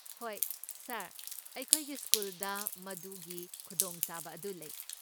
ꯍꯣꯏ, ꯁꯥꯔ, ꯑꯩꯈꯣꯏꯒꯤ ꯁ꯭ꯀꯨꯜꯗ ꯃꯗꯨꯒꯤ ꯈꯨꯗꯣꯡꯆꯥꯕ ꯑꯗꯨ ꯂꯩ꯫